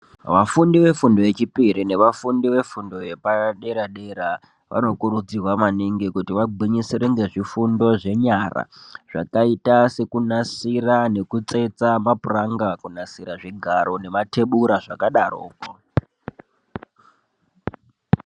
Vafundi vefundo yechipiri, nevafundi vefundo yepadera dera, vanokurudzirwa maningi kuti vagwinyisire ngezvifundo zvenyara, zvakayita sekunasira nekutsetsa mapranka, kunasira zvigaro nema thebura zvakadaro.